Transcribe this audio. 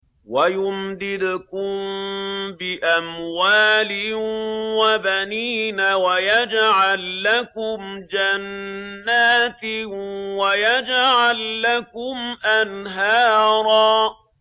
وَيُمْدِدْكُم بِأَمْوَالٍ وَبَنِينَ وَيَجْعَل لَّكُمْ جَنَّاتٍ وَيَجْعَل لَّكُمْ أَنْهَارًا